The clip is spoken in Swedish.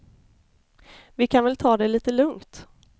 Vi kan väl ta det lite lugnt.